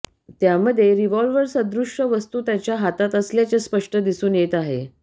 त्यामध्ये रिव्हॉल्व्हरसदृश वस्तू त्याच्या हातात असल्याचे स्पष्ट दिसून येत आहे